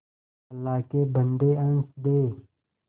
अल्लाह के बन्दे हंस दे